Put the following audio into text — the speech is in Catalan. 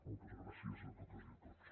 moltes gràcies a totes i a tots